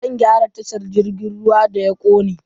Za a gyara tashar jirgin ruwa da ya kone.